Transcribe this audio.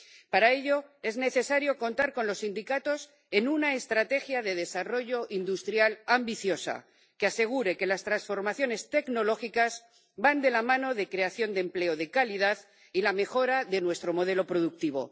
Para ello, es necesario contar con los sindicatos en una estrategia de desarrollo industrial ambiciosa, que asegure que las transformaciones tecnológicas van de la mano de la creación de empleo de calidad y la mejora de nuestro modelo productivo.